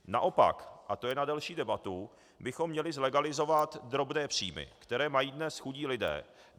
Naopak, a to je na delší debatu, bychom měli zlegalizovat drobné příjmy, které mají dnes chudí lidé.